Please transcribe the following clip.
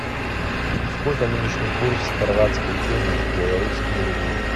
сколько нынешний курс хорватской куны в белорусские рубли